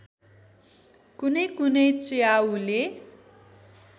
कुनै कुनै च्याउले